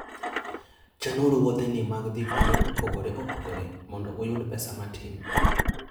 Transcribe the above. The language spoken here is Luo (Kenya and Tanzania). Chanuru wuodheni mag dhi kuonde mopogore opogore mondo uyud pesa matin.